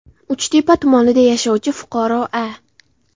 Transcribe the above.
Uchtepa tumanida yashovchi fuqaro A.